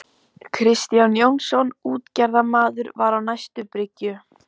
Kristján Jónsson útgerðarmaður var á næstu bryggju.